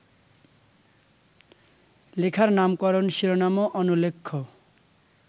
লেখার নামকরণ-শিরোনামও অনুল্লেখ্য